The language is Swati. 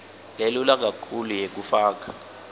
lelula kakhulu yekufaka